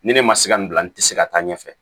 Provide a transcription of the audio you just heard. Ni ne ma se ka nin bila n tɛ se ka taa ɲɛfɛ